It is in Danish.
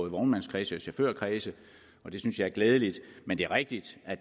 i vognmandskredse og chaufførkredse og det synes jeg er glædeligt men det er rigtigt at